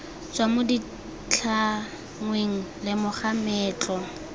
tswa mo ditlhangweng lemoga meetlo